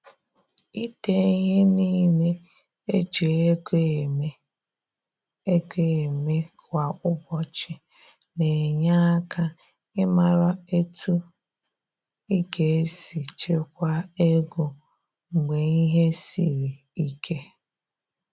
Ide ihe niile e ji ego eme ego eme kwa ụbọchị na-enye aka ịmara etu ị ga-esi chekwaa ego mgbe ihe siri ike.